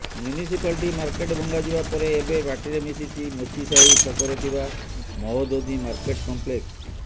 municipality market ଭଙ୍ଗାଯିବା ପରେ ଏବେ ମାଟିରେ ମିଶିଛି ମୋଚିସାହି ଛକରେ ଥିବା ମହୋଦଧି ମାର୍କେଟ କମ୍ପ୍ଲେକ୍ସ